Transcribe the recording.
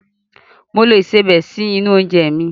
Mo lo ìsebẹ̀ sínú oúnjẹ mi.